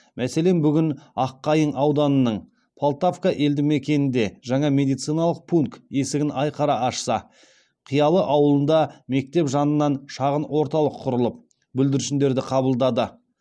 мәселен бүгін аққайың ауданының полтавка елді мекенінде жаңа медициналық пункт есігін айқара ашса қиялы ауылында мектеп жанынан шағын орталық құрылып бүлдіршіндерді қабылдады